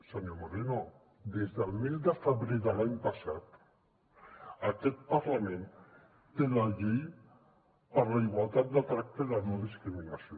senyor moreno des del mes de febrer de l’any passat aquest parlament té la llei per a la igualtat de tracte i la no discriminació